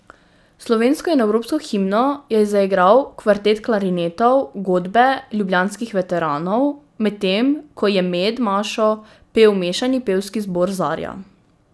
Slovensko in evropsko himno je zaigral Kvartet klarinetov Godbe ljubljanskih veteranov, medtem ko je med mašo pel mešani pevski zbor Zarja.